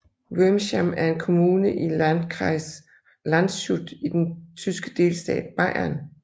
Wurmsham er en kommune i landkreis Landshut i den tyske delstat Bayern